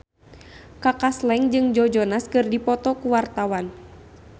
Kaka Slank jeung Joe Jonas keur dipoto ku wartawan